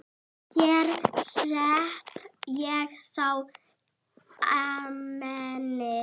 Hér set ég þá Amenið.